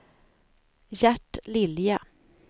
Gert Lilja